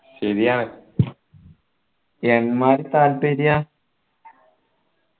ശരിയാണ് എമ്മാതിരി താല്പര്യ